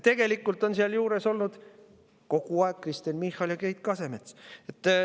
Tegelikult on seal juures olnud kogu aeg Kristen Michal ja Keit Kasemets.